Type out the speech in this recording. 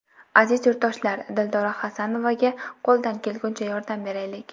Aziz yurtdoshlar, Dildora Xasanovaga qo‘ldan kelgunicha yordam beraylik!